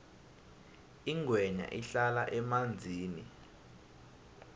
ingwenya ihlala emanzini